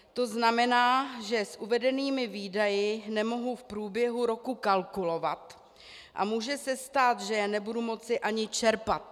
To znamená, že s uvedenými výdaji nemohu v průběhu roku kalkulovat a může se stát, že je nebudu moci ani čerpat.